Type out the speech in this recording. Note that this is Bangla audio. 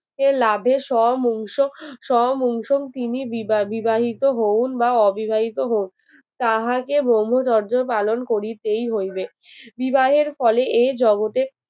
যে লাভের সব অংশ সব অংশ তিনি বিবা বিবাহিত হওন বা অবিবাহিত হন তাহাকে ব্রহ্মচর্য পালন করিতেই হইবে বিবাহের ফলে এই জগতে